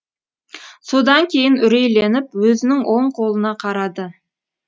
содан кейін үрейленіп өзінің оң қолына қарады